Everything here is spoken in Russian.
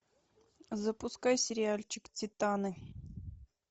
запускай сериальчик титаны